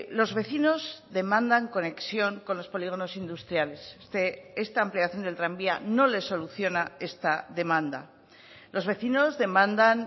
los vecinos demandan conexión con los polígonos industriales esta ampliación del tranvía no les soluciona esta demanda los vecinos demandan